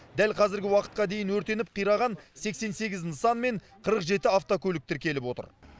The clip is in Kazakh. дәл қазіргі уақытқа дейін өртеніп қираған сексен сегіз нысан мен қырық жеті автокөлік тіркеліп отыр